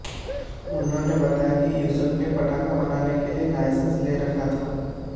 उन्होंने बताया कि यूसुफ ने पटाखा बनाने के लिए लाइसेंस ले रखा था